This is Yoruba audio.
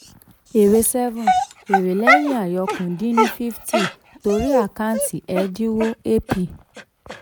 seven èrè seven èrè lẹ́yìn àyọkúrò dín ni fifty torí àkáǹtì ẹ̀dínwó ap.